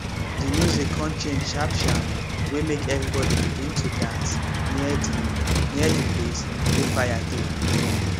de music con change sharp sharp wey make everybody begin to dance near de near de place wey fire dey